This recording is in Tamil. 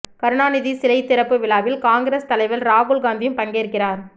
கருணாநிதி சிலை திறப்பு விழாவில் காங்கிரஸ் தலைவர் ராகுல் காந்தியும் பங்கேற்கிறார்